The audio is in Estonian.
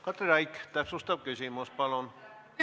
Katri Raik, täpsustav küsimus palun!